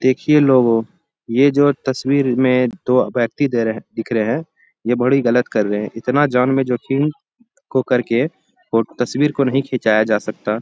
देखिये लोगो ये जो तस्वीर में दो व्यक्ति दे रहे दिख रहे हैं ये बड़ी गलत कर रहे है इतना जान में जोखिम को करके तस्वीर को नहीं खीचाया जा सकता |